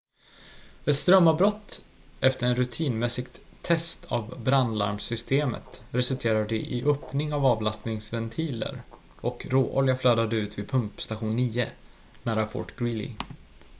ett strömavbrott efter ett rutinmässigt test av brandlarmsystemet resulterade i öppning av avlastningsventiler och råolja flödade ut vid pumpstation 9 nära fort greely